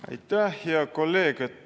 Aitäh, hea kolleeg!